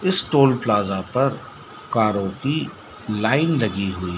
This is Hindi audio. इस टोल प्लाजा पर कारों की लाइन लगी हुई--